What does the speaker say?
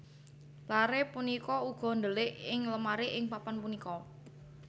Lare punika uga ndelik ing lemari ing papan punika